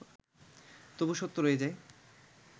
তবু সত্য রয়ে যায়